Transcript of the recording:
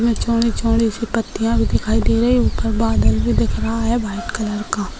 चौड़ी चौड़ी सी पाटिया भी दिखाई दे रही है ऊपर बदल भी दिख रहा है वाइट कलर का --